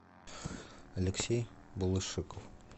алексей балышик